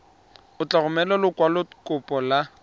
o tla romela lekwalokopo la